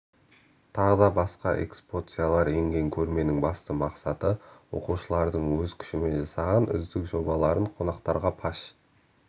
тағы басқа экспоциялар енген көрменің басты мақсаты оқушылардың өз күшімен жасаған үздік жобаларын қонақтарға паш